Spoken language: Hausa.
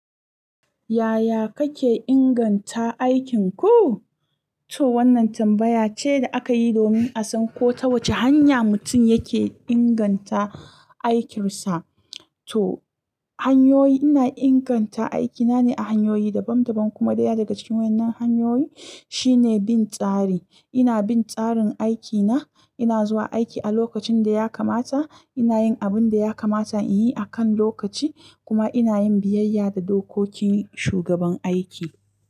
Yaya kake inganta aikinku? To wannan tambaya ce da aka yi domin a san ko ta wace hanya mutum yake inganta aikinsa. To hanyoyi, ina inganta aikina ne a hanyoyi dabam dabam kuma ɗaya daga cikin wannan hanyoyi shine bin tsari. Ina bin tsarin aikina, ina zuwa aiki a lokacin da ya kamata, ina yin abin da ya kamata in yi a kan lokaci kuma ina yin biyayya da dokokin shugaban aiki.